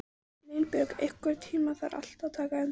Línbjörg, einhvern tímann þarf allt að taka enda.